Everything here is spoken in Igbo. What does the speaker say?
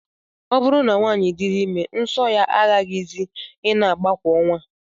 Ọ bụrụ na nwaanyị diri ime, nsọ ya agaghịzi ị na-agba kwa ọnwa